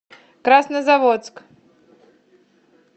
краснозаводск